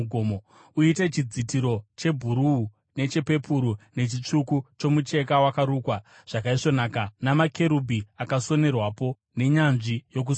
“Uite chidzitiro chebhuruu, nechepepuru nechitsvuku chomucheka wakarukwa zvakaisvonaka, namakerubhi akasonerwapo nenyanzvi yokusona.